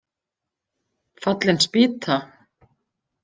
Fallin spýta